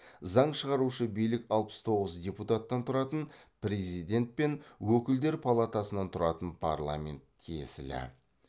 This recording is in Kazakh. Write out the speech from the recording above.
заң шығарушы билік алпыс тоғыз депутаттан тұратын президент пен өкілдер палатасынан тұратын парламент тиесілі